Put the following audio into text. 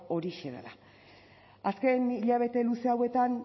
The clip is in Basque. horixe dela azken hilabete luze hauetan